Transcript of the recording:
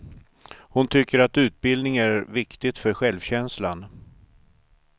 Hon tycker att utbildning är viktigt för självkänslan.